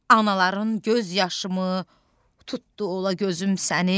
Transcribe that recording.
Anaların göz yaşımı tutdu ola gözüm səni?